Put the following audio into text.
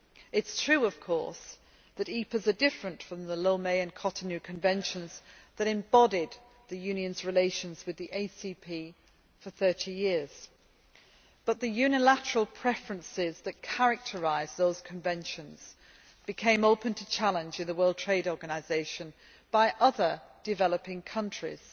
It is true, of course, that EPAs are different from the Lomé and Cotonou Conventions that embodied the Union's relations with the ACP for 30 years, but the unilateral preferences that characterise those conventions became open to challenge in the World Trade Organisation by other developing countries.